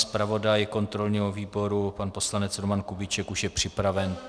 Zpravodaj kontrolního výboru pan poslanec Roman Kubíček už je připraven.